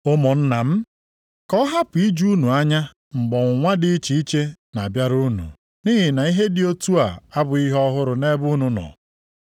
Ụmụnna m, ka ọ hapụ iju unu anya mgbe ọnwụnwa dị iche iche na-abịara unu nʼihi na ihe dị otu a abụghị ihe ọhụrụ nʼebe unu nọ.